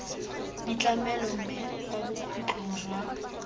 ditlamelo mme kwa bokhutlong jwa